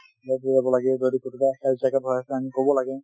ক'ৰবাত health checkup হৈ আছে আমি ক'বলাগে ।